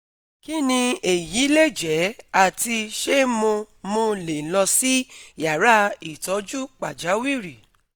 kini eyi leje ati se mo mo le lọ si yara itoju pajawiri?